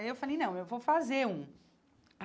Aí eu falei, não, eu vou fazer um.